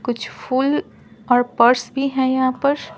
कुछ फूल और पर्स भी है यहां पर --